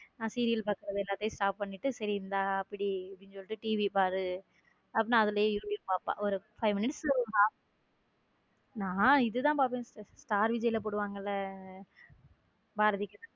நான் serial பார்க்கிறது எல்லாத்தையும் stop பண்ணிட்டு சரி இந்த பிடி TV பாரு அதுலயும் பாப்ப five minutes பாப்ப நான் இது தான் பாப்பேன் sister ஸ்டார் விஜய் போடுவாங்க இல் பாரதிகண்ணம்மா.